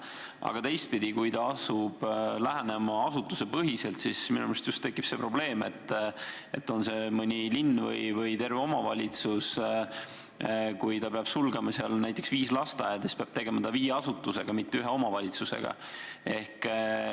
Aga teistpidi, kui ta asub lähenema asutusepõhiselt, siis minu meelest tekib see probleem, et – olgu tegemist mõne linna või terve omavalitsusega – kui ta peab seal sulgema näiteks viis lasteaeda, siis peab ta tegelema viie asutusega, mitte ühe omavalitsusega.